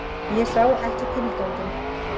Ég sá ekki tilganginn.